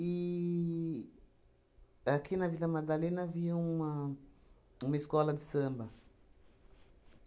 aqui na Vila Madalena havia uma uma escola de samba.